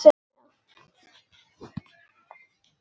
Og börnin enn minna.